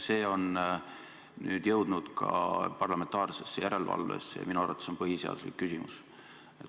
See on nüüd jõudnud ka parlamentaarsesse järelevalvesse ja minu arvates on see põhiseaduslik küsimus.